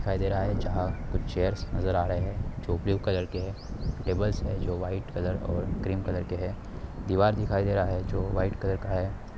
दिखाई दे रहा है जहा कुछ चेयर्स नज़र आ रहे है जो ब्लू कलर के है टेबल्स है जो वाइट कलर और क्रीम कलर के है दीवार दिखाई दे रहा है जो वाइट कलर का है ।